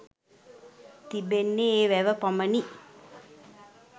තිබෙන්නේ ඒ වැව පමණි.